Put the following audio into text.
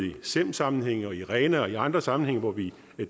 i sem sammenhænge i rena og i andre sammenhænge hvor vi